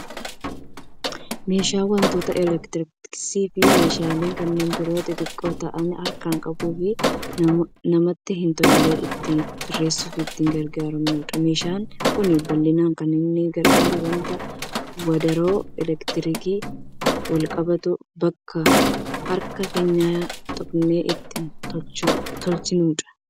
Meeshaa wantoota elektirooniksiifi meeshaalee kanneen biroo xixiqqoo ta'anii harkaan qabuuf namatti hin tolle ittiin sirreessuuf itti gargaaramnudha. Meeshaan kun bal'inaan kan inni gargaaru wanta wadaroo elektiriikiin walqabatu akka harka keenya hin xuqnetti ittiin tolchuufidha.